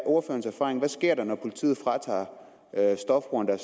ordførerens erfaring hvad sker der når politiet fratager stofbrugerne